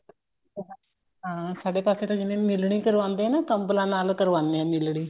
ਹਾਂ ਸਾਡੇ ਪਾਸੇ ਤਾਂ ਜਿਵੇਂ ਮਿਲਣੀ ਕਰਵਾਉਂਦੇ ਆਂ ਕੰਬਲਾਂ ਨਾਲ ਕਰਵਾਉਂਦੇ ਆ ਮਿਲਣੀ